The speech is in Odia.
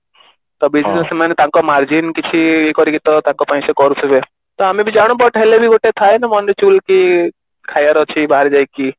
ତାପରେ ବି ସେମାନେ ତାଙ୍କ margin କିଛି କରିକି ତ ତାଙ୍କ ପାଇଁ ସେ କରୁଥିବେ ତ ଆମେ ବି ଜାଣୁ but ହେଲେ ବି ଗୋଟେ ଥାଏ ନା ମନରେ କି ଖାଇବାର ଅଛି ବାହାରେ ଯାଇକି